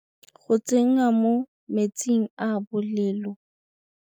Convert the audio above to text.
Tšhelete e e dira tšhelete.